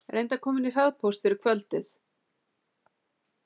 Reyndu að koma henni í hraðpóst fyrir kvöldið.